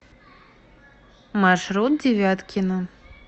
маршрут девяткино